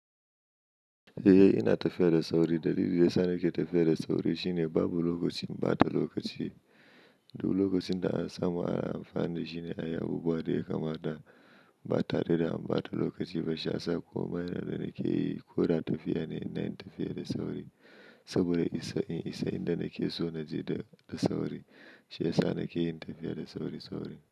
Eh, ina tafiya da sauri. Dalilin da yasa nake tafiya da sauri shine babu lokacin ɓata lokaci. Duk lokacin da an saba ayi amfani da shi ne a ɗanyi abubuwa daya kamata da an ɓata lokaci ba. Bashiyasa komai na dana keyi koda tafiya ne ina tafiya da sauri saboda in isa inda nakeson naje da sauri. Shiyasa nake yin tafiya da sauri-sauri.